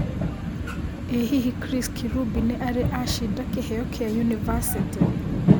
ĩ hihi Chris Kirubi nĩ arĩ acĩnda Kĩheo kia nyũnibacĩtĩ